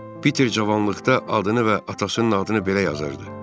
Piter cavanlıqda adını və atasının adını belə yazırdı.